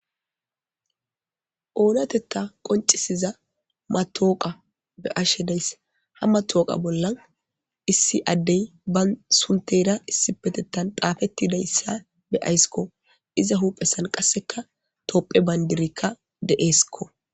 oonatetta qoncisiza matooqa be'ashe deyss ha matooqa bollan issi addey ban sunteyra issipetettan daafettidayssa be ayssikko iza huphesan qasseka toopphe bayndirikka deeeskko